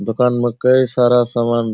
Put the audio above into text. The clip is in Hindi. दुकान में कई सारा समान --